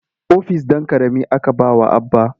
Ofis ɗan ƙarami aka ba wa Abba.